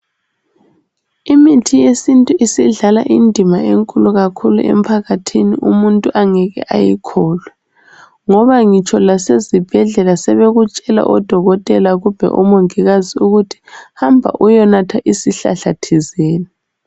Imithi yesintu isidlala indima enkulu kakhulu emphakathini umuntu angeke ayikholwe ngoba ngitsho lasezibhedlela sebekutshela odokotela kumbe omongikazi ukuthi hamba uyenatha isihlahla thizeni.